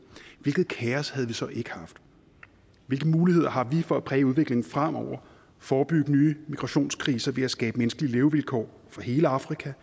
hvilket kaos havde vi så ikke haft hvilke muligheder har vi for at præge udviklingen fremover forebygge nye migrationskriser ved at skabe menneskelige levevilkår for hele afrika